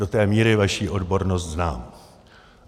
Do té míry vaši odbornost znám.